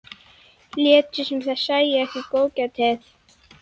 Létu sem þær sæju ekki góðgætið.